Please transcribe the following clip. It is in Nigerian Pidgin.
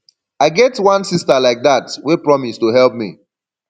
i get wan sister like dat wey promise to help me